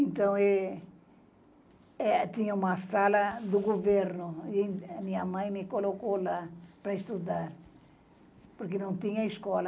Então, eh, eh tinha uma sala do governo e a minha mãe me colocou lá para estudar, porque não tinha escola.